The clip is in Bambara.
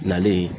Nalen